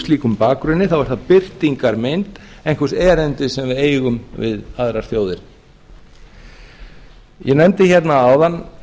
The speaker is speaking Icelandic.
slíkum bakgrunni birtingarmynd einhvers erindis sem við eigum við aðrar þjóðir ég nefndi hérna áðan